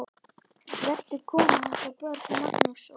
Voru kona hans og börn, Magnús og